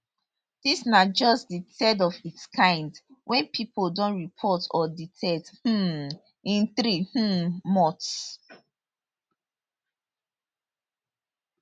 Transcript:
dis na just di third of its kind wey pipo don report or detect um in three um months